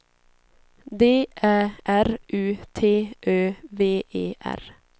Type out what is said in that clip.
D Ä R U T Ö V E R